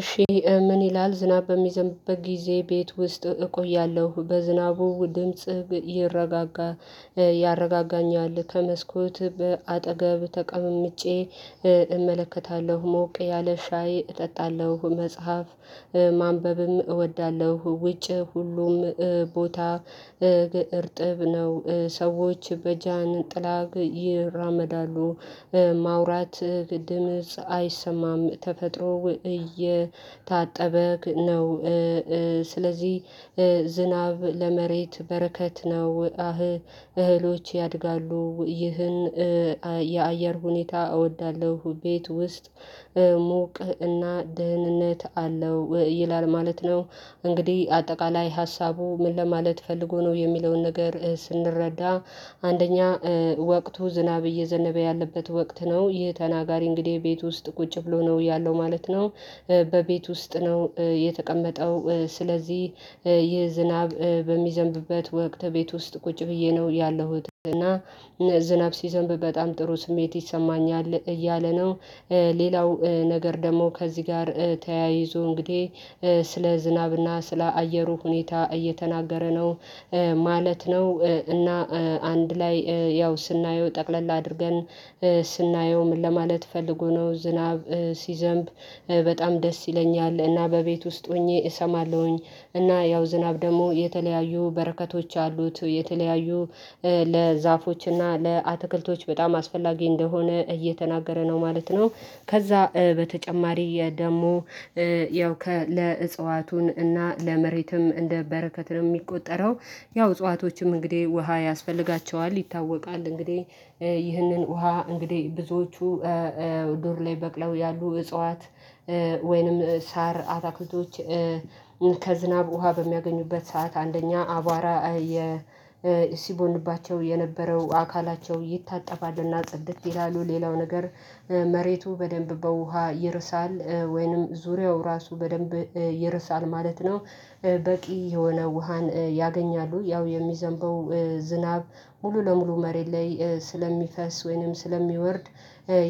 እሺ ምን ይላል ዝናብ በሚዘንብበት ጊዜ ቤት ውስጥ እቆያለሁ በዝናቡ ድምጽ ይረጋል ያረጋጋኛል ከመስኮት በአጠገብ ተቀምጬ እ አመለከታለሁ ሞቅ ያለ ሻይ እጠጣለሁ መጽሐፍ ማንበብም እወዳለሁ ውጭ ሁሉም ቦታ እርጥብ ነው ሰዎች በጃንጥላ ይራመዳሉ ማውራት ድምጽ አይሰማም ተፈጥሮ እየታጠበክ ነው ስለዚህ ዝናብ ለመሬት በረከት ነው እህሎች ያድጋሉ ይህን የአየር ሁኔታ እወዳለሁ ቤት ውስጥ ሞቅ እና ደህንነት አለው ይላል ማለት ነው። እንግዲህ አጠቃላይ ሀሳቡ ምን ለማለት ፈልጎ ነው የሚለውን ነገር ስንረዳ አንደኛ ወቅቱ ዝናብ እየዘነበ ያለበት ወቅት ነው ይህ ተናጋሪ እንግዲህ ቤት ውስጥ ቁጭ ብሎ ነው ያለው ማለት ነው። በ ቤት ውስጥ ነው የተቀመጠው ስለዚህ ይህ ዝናብ በሚዘንብበት ወቅት ቤት ውስጥ ቁጭ ብዬ ነው ያለሁት እና ዝናብ ሲዘንብ በጣም ጥሩ ስሜት ይሰማኛል እያለ ነው። ሌላው ነገር ደግሞ ከዚህ ጋር ተያይዞ እንግዲህ ስለ ዝናብ እና ስለ አየሩ ሁኔታ እየተናገረ ነው ማለት ነው እና አንድ ላይ ያው ስናየው ጠቅለል አድርገን ስናየው ምን ለማለት ፈልጎ ነው ዝናብ ሲዘንብ በጣም ደስ ይለኛል እና በቤት ውስጥ ሁኘ አሰማለሁኝ እና ያው ዝናብ ደግሞ የተለያዩ በረከቶች አሉት የተለያዩ እ ለ ዛፎችና ለ አትክልቶች በጣም አስፈላጊ አንደሆነ እየተናገረ ነው ማለት ነው። ከዛ በተጨማሪ የ ደሞ እ ያው ከ ለ እፀዋቱን እና ለ መሬቱም እንደበረከት ነው የሚቆጠረው ያው እፀዋቶችም እንግዲህ ውሃ ያስፈልጋቸዋል ይታወቃል እንግዲህ ይህንን ውሃ እንግዲህ ብዙዎቹ በሩ ላይ በቅለው ያሉ እጽዋት ወይንም ሳር አታክልቶች ከዝናብ ውሃ በሚያገኙበት ሰዓት አንደኛ አቧራ ሲቦንባቸው የነበረው አካላቸው ይታጠባሉና ጽድት ይላሉ ሌላው ነገር መሬቱ በደንብ በውሃ ይርሳል ወይንም ዙሪያው ራሱ በደንብ ይርሳል ማለት ነው። በቂ የሆነ ውሃን ያገኛሉ ያው የሚዘንበው ዝናብ ሙሉ ለሙሉ መሬት ላይ ስለሚፈስ ወይንም ስለሚወርድ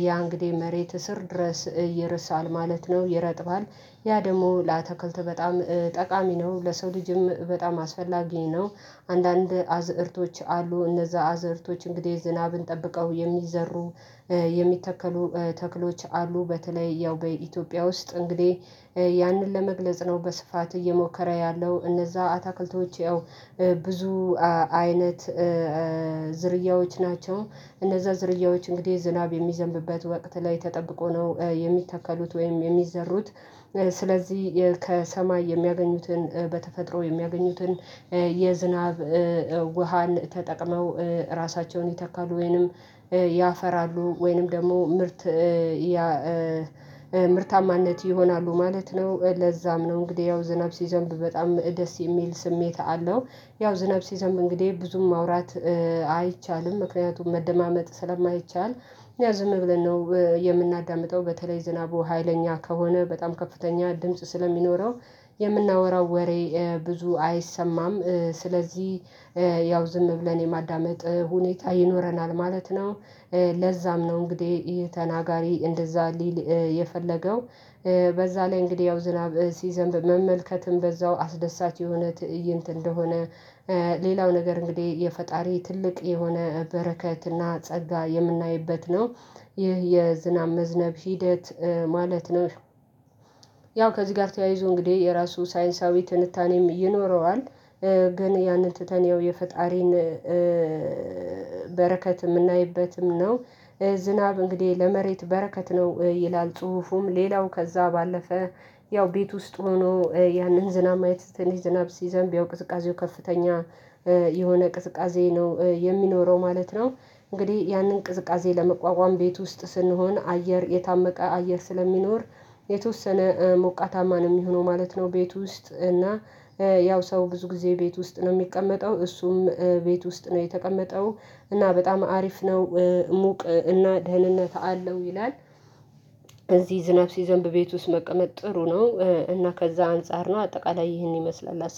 ያ እንግዲህ መሬት ስር ድረስ ይርሳል ማለት ነው ይረጥባል ያ ደግሞ ለአትክልት በጣም ጠቃሚ ነው ለሰው ልጅም በጣም አስፈላጊ ነው። አንዳንድ አዝእርቶች አሉ እነዛ አዝእርቶች እንግዲህ ዝናብን ጠብቀው የሚዘሩ የሚተከሉ ተክሎች አሉ በተለይ ያው በኢትዮጵያ ውስጥ እንግዲህ ያንን ለመግለጽ ነው በስፋት እየሞከረ ያለው እነዛ አታክልቶች ያው ብዙ አይነት ዝርያዎች ናቸው እነዛ ዝርያዎች እንግዲህ ዝናብ የሚዘንብበት ወቅት ላይ ተጠብቆ ነው የሚተከሉት ወይም የሚዘሩት ከሰማይ የሚያገኙትን በተፈጥሮ የሚያገኙትን የዝናብ ውሃን ተጠቅመው እራሳቸውን ይተካሉ ወይንም ያፈራሉ ወይንም ደግሞ ምርት ያ ምርታማነት ይሆናሉ ማለት ነው። ለዛም ነው እንግዲህ ያው ዝናብ ሲዘንብ በጣም ደስ የሚል ስሜት አለው ያው ዝናብ ሲዘንብ እንግዲህ ብዙም ማውራት አይቻልም ምክንያቱም መደማመጥ ስለማይቻል ያው ዝም ብለን ነው የምናዳምጠው በተለይ ዝናቡ ሀይለኛ ከሆነ በጣም ከፍተኛ ድምጽ ስለሚኖረው የምናወራው ወሬ ብዙ አይሰማም ስለዚህ ያው ዝም ብለን የማዳመጥ ሁኔታ ይኖረናል ማለት ነው። ለዛም ነው እንግዲህ ይሄ ተናጋሪ እንደዛ ሊል የፈለገው በዛ ላይ እንግዲህ ያው ዝናብ ሲዘንብ መመልከትም በዛው አስደሳች የሆነ ትእይንት እንደሆነ ሌላው ነገር እንግዲህ የፈጣሪ ትልቅ የሆነ በረከትና ጸጋ የምናይበት ነው ይህ የዝናብ መዝነብ ሂደት ማለት ነው። ያው ከዚህ ጋር ተያይዞ እንግዲህ የራሱ ሳይንሳዊ ትንታኔም ይኖረዋል ግን ያንን ትተን የፈጣሪን በረከት የምናይበትም ነው። ዝናብ እንግዲህ ለመሬት በረከት ነው ይላል ጽሁፉም ሌላው ከዛ ባለፈ ያው ቤት ውስጥ ሆኖ ያንን ዝናብ ማየት ትንሽ ዝናብ ሲዘንብ ያው ቅዝቃዜው ከፍተኛ የሆነ ቅዝቃዜ ነው የሚኖረው ማለት ነው። እንግዲህ ያንን ቅዝቃዜ ለመቋቋም ቤት ውስጥ ስንሆን አየር የታመቀ አየር ስለሚኖር የተወሰነ ሞቃታማ ነው የሚሆነው ማለት ነው። ቤት ውስጥ እና ያው ሰው ብዙ ጊዜ ቤት ውስጥ ነው የሚቀመጠው እሱም ቤት ውስጥ ነው የተቀመጠው እና በጣም አሪፍ ነው ሙቅ እና ደህንነት አለው ይላል። እዚህ ዝናብ ሲዘንብ ቤት ውስጥ መቀመጥ ጥሩ ነው እና ከዛ አንፃር ነው አጠቃላይ ይህን ይመስላል